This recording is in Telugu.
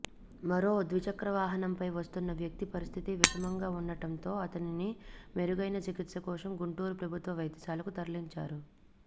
మరో ద్విచక్రవాహనంపై వస్తున్న వ్యక్తి పరిస్థితి విషమంగా ఉండటంతో అతనిని మెరుగైన చికిత్స కోసం గుంటూరు ప్రభుత్వ వైద్యశాలకు తరలించారు